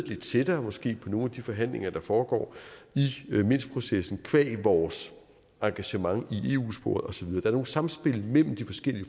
lidt tættere måske på nogle af de forhandlinger der foregår i minskprocessen qua vores engagement i eu sporet osv der er nogle samspil mellem de forskellige